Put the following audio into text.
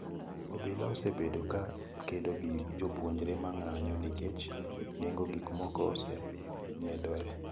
Obila osebedo ka kedo gi jopuonjre ma ng'anyo nikech nengo gik moko medore.